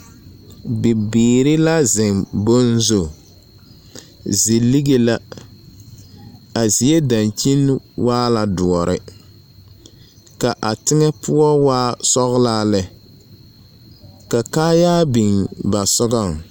Bibiiri la zeŋ boŋ zu, zilige la, a zie dankyini waa la doɔre, ka a teŋɛ poɔ waa sɔglaa lɛ, ka kaayaa biŋ ba sɔgɔŋ. 13383